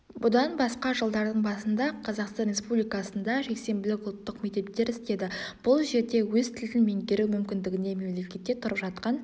бұдан басқа жылдардың басында қазақстан республикасында жексенбілік ұлттық мектептер істеді бұл жерде өз тілін меңгеру мүмкіндігіне мемлекетте тұрып жатқан